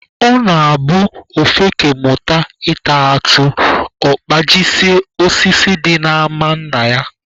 Ọ na-abụ ofeke mụta ịta atụ, ọ kpajisie osisi dị n'ama nna ya